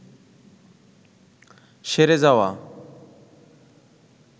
সেরে যাওয়া